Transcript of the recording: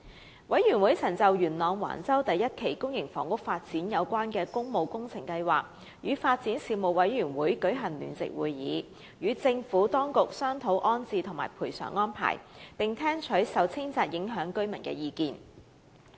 事務委員會曾就元朗橫洲第一期公營房屋發展有關的工務工程項目，與發展事務委員會舉行聯席會議，商討安置和賠償安排，並聽取受清拆影響居民的意見。